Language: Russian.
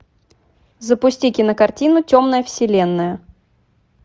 запусти кинокартину темная вселенная